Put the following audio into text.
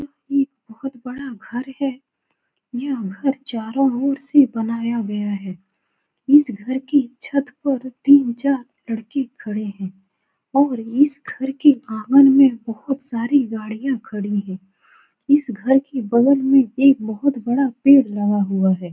ये बहुत बड़ा घर है यह घर चारो ओर से बनाया गया है इस घर की छत पे तीन चार लड़के खड़े है और इस घर के आँगन में बहुत सारी गाड़ियां खड़ी है इस घर के बगल में बहुत बड़ा पेड़ लगा हुआ है।